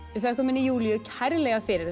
þökkum henni Júlíu kærlega fyrir þessa